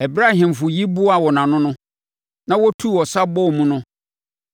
Ɛberɛ a ahemfo yi boaa wɔn ho ano, na wɔtuu ɔsa bɔɔ mu no,